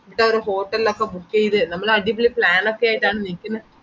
നിക്കവിടെ hotel ലോക്കെ book ചെയ്‌ത്‌ നമ്മളാടിപൊളി plan ഒക്കെ ആയിട്ടാണ് നിക്കുന്ന